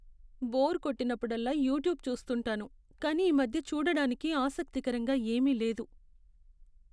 Bore కొట్టినప్పుడల్లా YouTube చూస్తుంటాను. కానీ ఈమధ్య చూడటానికి ఆసక్తికరంగా ఏమీ లేదు.